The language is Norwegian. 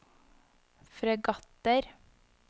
fregatter